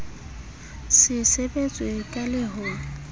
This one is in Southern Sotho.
se sebetswe ka le ho